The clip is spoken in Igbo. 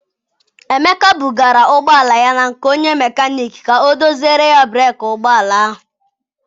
Emeka bugara ụgbọala ya na nke onye mecanic ka ọ doziere ya breeki ụgbọala ahụ.